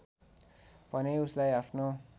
भने उसलाई आफनो